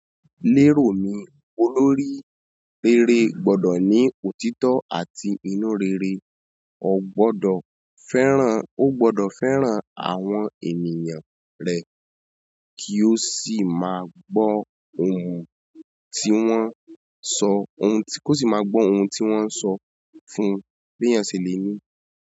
Lérò mi, olórí rere gbọ́dọ̀ ní òtítọ́ àti inú rere. Ó gbọ́dọ̀ fẹ́ràn, ó gbọ́dọ̀ fẹ́ràn àwọn ènìyàn rẹ̀ kí ó sì máa gbọ́ ohùn tí wọ́n ń sọ, ohun tí, kó sì máa gbọ́ ohun tí wọ́n ń sọ fún un. Bi eyan se le ni.